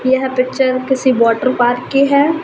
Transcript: यह पिक्चर किसी water park की है।